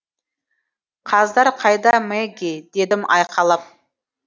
қаздар қайда мэгги дедім айқайлап